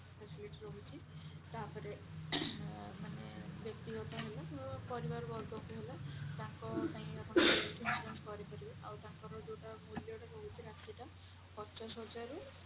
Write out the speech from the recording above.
facility ରହୁଛି ତାପରେ ମାନେ ବ୍ୟକ୍ତିଗତ ହେଲା କିମ୍ବା ପରିବାରବର୍ଗ ପାଇଁ ହେଲା ତାଙ୍କ ପାଇଁ ଆପଣ health insurance କରିପାରିବେ ଆଉ ତାଙ୍କର ଯୋଉଟା ମୂଲ୍ୟ ରହୁଛି ଯୋଉଟା ରାଶିଟା ପଚାଶ ହଜାରରୁ